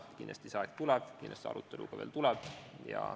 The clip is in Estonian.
Kindlasti see aeg tuleb, kindlasti ka arutelu tuleb.